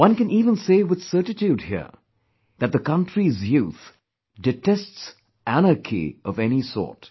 One can even say with certitude here, that the country's youth detests anarchy of any sort